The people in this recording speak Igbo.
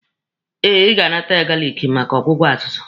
Eh, Ị ga-anata ya galiki maka ọgwụgwọ azụzụ.